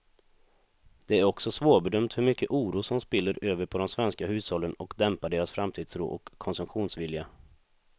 Det är också svårbedömt hur mycket oro som spiller över på de svenska hushållen och dämpar deras framtidstro och konsumtionsvilja.